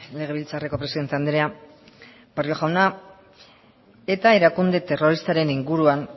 legebiltzarreko presidente andrea barrio jauna eta erakunde terroristaren inguruan